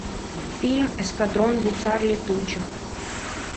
фильм эскадрон гусар летучих